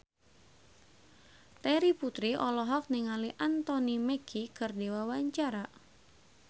Terry Putri olohok ningali Anthony Mackie keur diwawancara